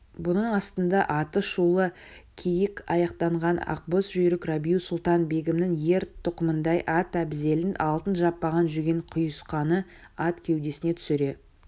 бұның астында аты шулы киік-аяқатанған ақбоз жүйрік рабиу-сұлтан-бегімнің ер-тоқымындай ат-әбзелін алтын жаппаған жүген-құйысқаны ат кеудесіне түсіре